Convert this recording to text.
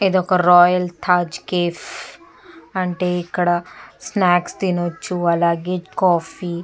ఇదొక royal Taj cafe అంటే ఇక్కడ స్నాక్స్ తినచ్చు అలాగే కాఫీ --